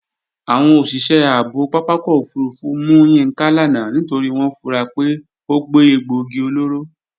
Àwọn òṣìṣẹ́ ààbò pápákọ̀ òfurufú mú Yínká lánàá nítorí wọ́n fura pé ó gbé egbòogi olóró